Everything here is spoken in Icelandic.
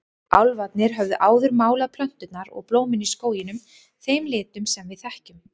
Álfarnir höfðu áður málað plönturnar og blómin í skóginum þeim litum sem við þekkjum.